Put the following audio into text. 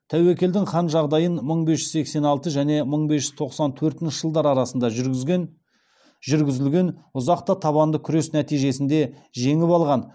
тәуекелдің хан жағдайын мың бес жүз сексен алты және мың бес жүз тоқсан төртінші жылдар арасында жүргізілген ұзақ та табанды күрес нәтижесінде жеңіп алғаны